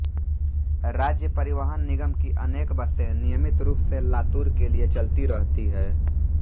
राज्य परिवहन निगम की अनेक बसें नियमित रूप से लातूर के लिए चलती रहती हैं